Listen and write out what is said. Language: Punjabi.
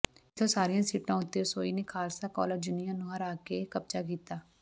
ਇਥੋਂ ਸਾਰੀਆਂ ਸੀਟਾਂ ਉਤੇ ਸੋਈ ਨੇ ਖਾਲਸਾ ਕਾਲਜ ਯੂਨੀਅਨ ਨੂੰ ਹਰਾ ਕੇ ਕਬਜ਼ਾ ਕੀਤਾ